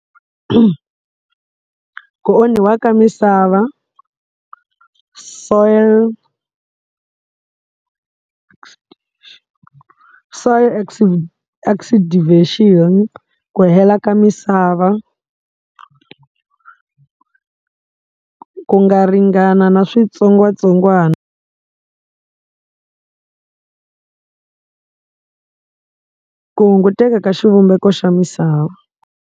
Ku onhiwa ka misava soil soil oxidivation-i ku hela ka misava ku nga ringana na switsongwatsongwana ku hunguteka ka xivumbeko xa misava.